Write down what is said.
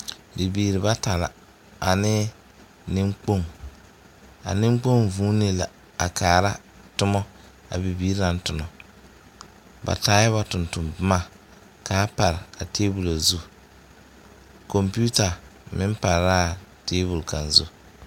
Bibiiri bata la ane niŋkpoŋ a niŋkpoŋ vuunee la a kaara a tomɔa bibiiri naŋ tonɔ ba taɛ ba tontonboma kaa pare a tabol zu kompeuta meŋ pare la a tabol kaŋ zu.